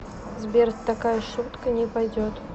сбер такая шутка не пойдет